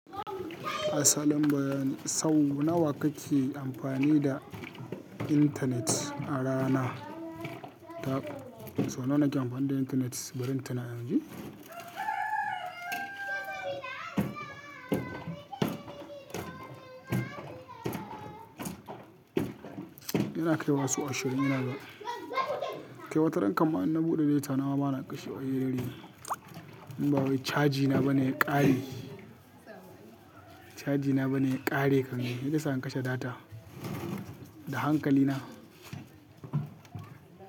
Asalin bayani, sau nawa kake amfani da intanet a rana? Sau nawa nake amfani da intanet, bari in tuna in ji? Ina kaiwa sau ashirin, inaga kai wa taran. Kamma inna buɗe data, nawa bana kashe a hirarri. In ba wai cajina bane ya ƙare, cajina bane ya ƙare kan. Maiza isa in kashe data da hankali na.